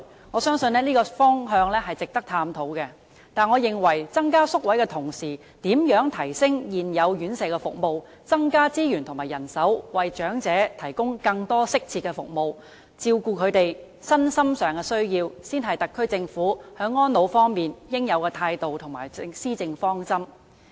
我相信這個方向是值得探討的，但我認為在增加宿位的同時，如何提升現有的院舍服務，增加資源和人手，為長者提供更多適切的服務，照顧他們的身心需要，才是特區政府在安老方面的應有態度和施政方針。